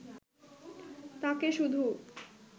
তাঁকে শুধু